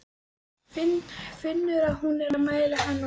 Finnur að hún er að mæla hann út.